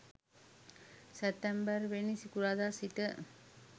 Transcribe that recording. සැප්තැම්බර්වෙනි සිකුරාදා සිට